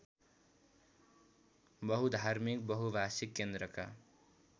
बहुधार्मिक बहुभाषिक केन्द्रका